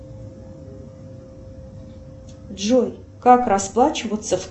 джой как расплачиваться в